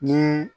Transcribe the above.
Ni